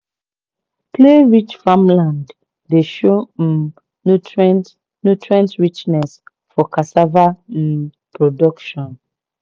clay-rich farmland dey show um nutrient nutrient richness for cassava um production.